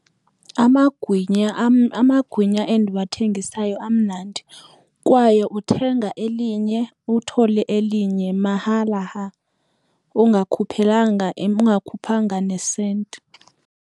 Amagwinya am, amagwinya endiwathengisayo amnandi kwaye uthenga elinye uthole elinye mahala ha ungakhokhelanga, ungakhuphanga nesenti.